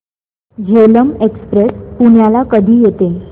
Jhelum express पुण्याला कधी येते